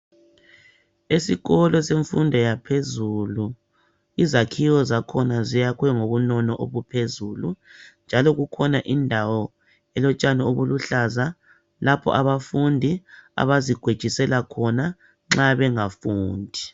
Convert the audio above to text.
Esikolo semfundo yaphezulu izakhiwo zakhona ziyakhwe ngobunono obuphezulu njalo kukhona indawo elotshani obuluhlaza lapho abafundi abazikwejisela khona nxa bengafundi